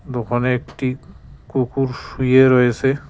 দোকানে একটি কুকুর শুয়ে রয়েছে।